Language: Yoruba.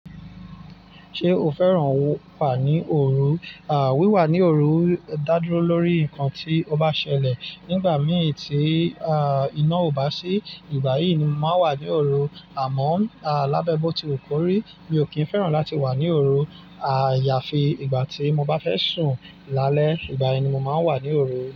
Ṣé o fẹ́ràn wà ní òru? À, wíwà ní òru dá dúró lórí nǹkan tí o bá ṣẹlẹ̀. Nígbà mí tí, iná ò bá sí, ìgbà yìí ni màá wà ní òru. Àmọ́ à, lábẹ́ bọ́ tí wu kórí, mi ò kí ń fẹ́ràn láti wà ní òru. Àyàfi ìgbà tí mo bá fẹ́ sùn lálẹ́, ìgbà yen ni mo màá wà ní òru.